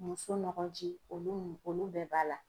Muso nɔgɔji olu mun olu bɛɛ b'a la.